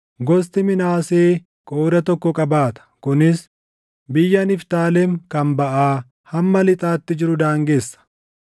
Gosti Minaasee qooda tokko qabaata; kunis biyya Niftaalem kan baʼaa hamma lixaatti jiru daangessa.